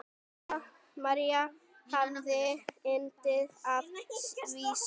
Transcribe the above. María hafði yndi af vísum.